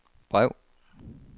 brev